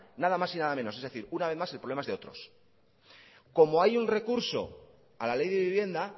nada más y nada menos es decir una vez más el problema es de otros como hay un recurso a la ley de vivienda